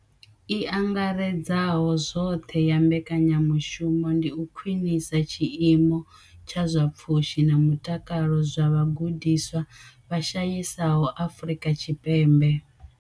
I angaredzaho zwoṱhe ya mbekanyamushumo ndi u khwinisa tshiimo tsha zwa pfushi na mutakalo zwa vhagudiswa vha shayesaho Afrika Tshipembe.